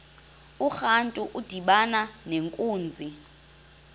urantu udibana nenkunzi